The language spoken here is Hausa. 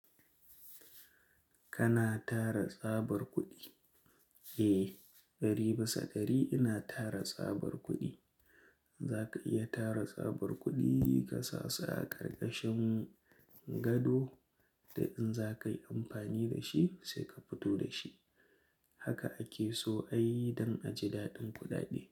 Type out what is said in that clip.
Kana tara tsabar kuɗi? Eh, dari bisa dari ina tara tsabar kuɗi. Zaka iya tara tsabar kuɗi kasasa a ƙarƙashin gado, dan in za ka yi amfani da shi sai ka fito da shi. Haka ake so ayi don a ji daɗin kuda de.